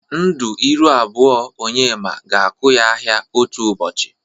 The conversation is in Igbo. Ndu ịrụ abụọ Onyema ga-akụ ya ahịa otu ụbọchi.